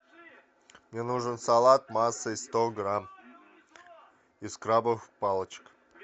мне нужен салат массой сто грамм из крабовых палочек